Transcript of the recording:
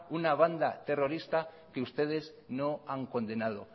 una banda terrorista que ustedes no han condenado